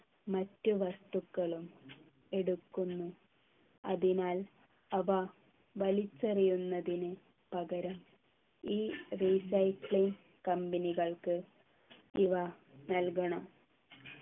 മറ്റു വസ്തുക്കളും എടുക്കുന്നു അതിനാൽ അവ വലിച്ചെറിയുന്നതിന് പകരം ഈ recycling company കൾക്ക് ഇവ നൽകണം